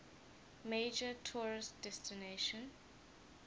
major tourist destination